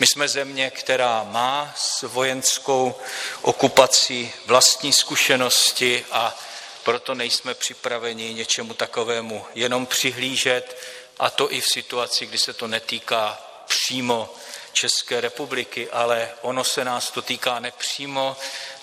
My jsme země, která má s vojenskou okupací vlastní zkušenosti, a proto nejsme připraveni něčemu takovému jenom přihlížet, a to i v situaci, kdy se to netýká přímo České republiky, ale ono se nás to týká nepřímo.